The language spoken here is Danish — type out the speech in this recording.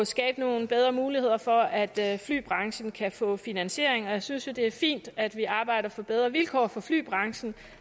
skabe nogle bedre muligheder for at flybranchen kan få finansiering og jeg synes jo det er fint at vi arbejder for bedre vilkår for flybranchen